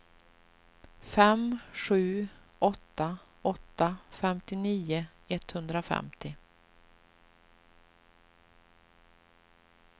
fem sju åtta åtta femtionio etthundrafemtio